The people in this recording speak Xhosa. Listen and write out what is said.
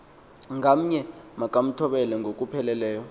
ngamnye makamthobele ngokupheleleyo